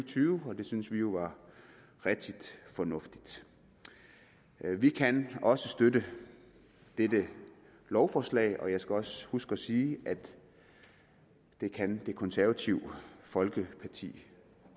tyve og det synes vi jo var rigtig fornuftigt vi kan også støtte dette lovforslag og jeg skal også huske at sige at det kan det konservative folkeparti